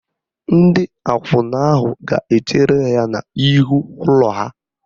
Ndị akwụna ahụ ga-echere ya n'ihu ụlọ ha.